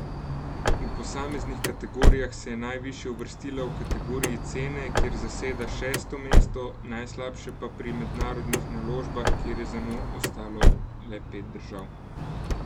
V posameznih kategorijah se je najvišje uvrstila v kategoriji cene, kjer zaseda šesto mesto, najslabše pa pri mednarodnih naložbah, kjer je za njo ostalo le pet držav.